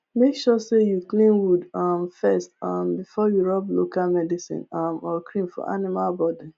make sure say you clean wound um first um before you rub local medicine um or cream for animal body